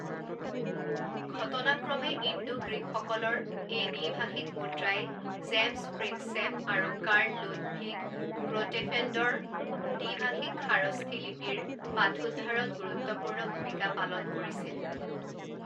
ঘটনাক্ৰমে Indo গ্ৰীকসকলৰ এই দ্বি ভাষিক মুদ্ৰাই জেমছ প্ৰিনছেপ আৰু কাৰ্ল লুডভিগ গ্ৰোটেফেণ্ডৰ দ্বি ভাষিক খাৰষ্ঠী লিপীৰ পাঠোদ্ধাৰত গুৰুত্বপূৰ্ণ ভূমিকা পালন কৰিছিল।